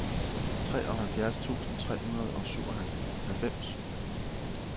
treoghalvfjerds tusind tre hundrede og syvoghalvfems